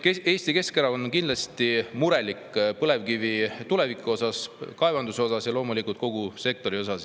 Nii et Eesti Keskerakond on kindlasti murelik põlevkivi tuleviku osas, kaevandamise osas ja loomulikult kogu sektori osas.